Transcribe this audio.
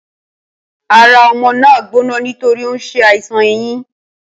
Ara o̩mo̩ náà ń gbóná nítorí ó ń s̩e àìsàn eyín